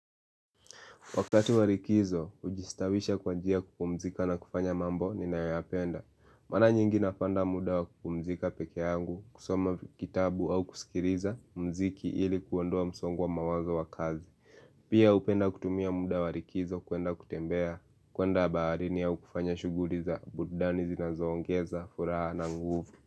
Wakati warikizo, ujistawisha kwa jia kupumzika na kufanya mambo ni nayoyapenda. Mara nyingi nafanda muda wa kupumzika peke yangu, kusoma kitabu au kusikiriza mziki ili kuondoa msongwa mawaza wa kazi. Pia upenda kutumia muda warikizo kuenda kutembea kuenda baarini au kufanya shuguri za burudani zinazongeza furaha na nguvu.